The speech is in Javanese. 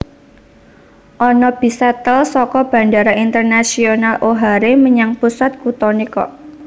Ono bis shuttle soko Bandara Internasional O'Hare menyang pusat kutone kok